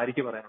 ആര്യയ്ക്ക് പറയാനുള്ളത്?